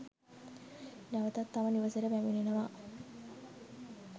නැවතත් තම නිවසට පැමිණෙනවා